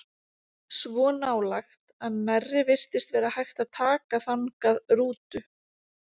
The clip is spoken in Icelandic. Svo nálægt að nærri virtist vera hægt að taka þangað rútu.